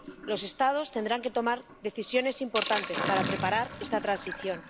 Los Estados tendrán que tomar decisiones importantes para preparar esta transición.